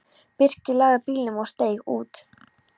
Birkir lagði bílnum og steig út.